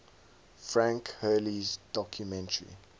frank hurley's documentary